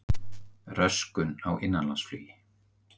Röskun á innanlandsflugi